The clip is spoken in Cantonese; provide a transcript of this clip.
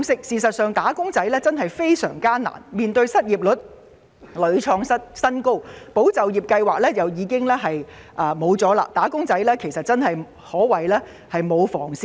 事實上，"打工仔"的處境的確非常艱難，面對失業率屢創新高，"保就業"計劃亦已結束，"打工仔"可謂沒有防線可守。